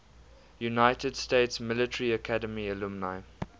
united states military academy alumni